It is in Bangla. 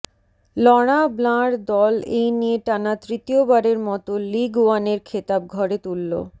লরাঁ ব্লাঁর দল এই নিয়ে টানা তৃতীয়বারের মতো লিগ ওয়ানের খেতাব ঘরে তুললো